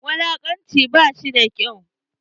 Wulakanci ba shi da kyau.